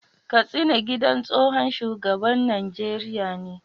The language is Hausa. Kastina gidan tsohon shugaban Najeriya ne